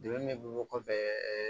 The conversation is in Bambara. Degun min bɛ bɔ kɔfɛ ɛɛ